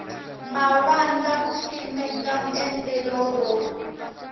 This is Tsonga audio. mavandla ku simeka endlelo ro